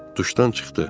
Duşdan çıxdı.